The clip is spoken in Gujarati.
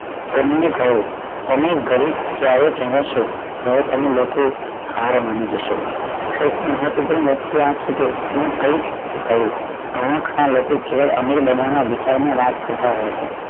તેમણે કહ્યું તમે ગરીબ ક્યારે કહવશો જ્યારે તમે લોકો હાર માની જશો કોઈક કઈક કહો અમીર બનવાના વિચાર ને વાત કરતાં આવ્યા છે